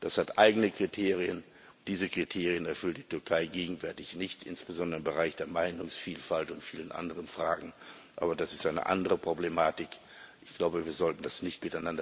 Das hat eigene Kriterien, und diese Kriterien erfüllt die Türkei gegenwärtig nicht, insbesondere im Bereich der Meinungsvielfalt und vielen anderen Fragen. Aber das ist eine andere Problematik. Wir sollten das nicht